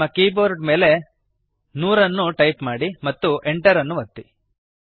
ನಿಮ್ಮ ಕೀಬೋರ್ಡ್ ಮೇಲೆ 100 ಅನ್ನು ಟೈಪ್ ಮಾಡಿರಿ ಮತ್ತು Enter ಅನ್ನು ಒತ್ತಿರಿ